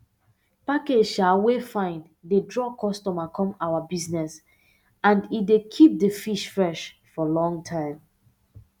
package um wey fine dey draw customer come our bizness and e dey keep di fish fresh for long time